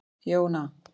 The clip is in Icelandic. Jóna